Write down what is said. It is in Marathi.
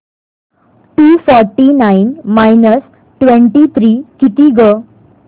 to forty nine minus twenty three किती गं